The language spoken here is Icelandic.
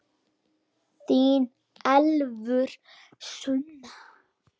Þín Elfur Sunna.